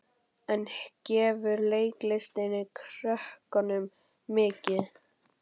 En gefur leiklistin krökkunum mikið?